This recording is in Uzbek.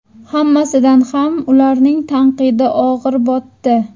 Hammasidan ham ularning tanqidi og‘ir botdi.